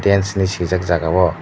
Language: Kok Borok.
dance hinui sijak jaga o.